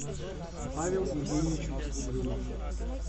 павел евгеньевич угрюмов